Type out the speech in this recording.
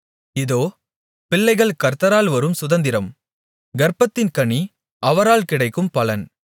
இதோ பிள்ளைகள் கர்த்தரால் வரும் சுதந்திரம் கர்ப்பத்தின் கனி அவரால் கிடைக்கும் பலன்